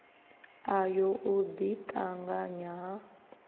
ayo u ḓi ṱanganya ha